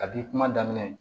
Kabi kuma daminɛ